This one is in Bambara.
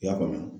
I y'a faamu